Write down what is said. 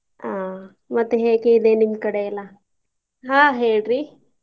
ಆಹ್ ಮತ್ತೆ ಹೇಗೆ ಇದೆ ನಿಮ್ಮ್ ಕಡೆ ಎಲ್ಲಾ? ಆಹ್ ಹೇಳ್ರಿ?